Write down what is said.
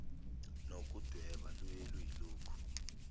nokudweba luye luyilokhu